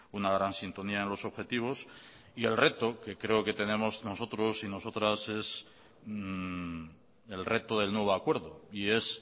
una gran sintonía en los objetivos y el reto que creo que tenemos nosotros y nosotras es el reto del nuevo acuerdo y es